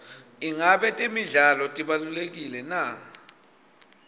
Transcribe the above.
ingabe temidlalo tibalulekile na